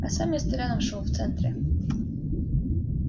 а сам я с толяном шёл в центре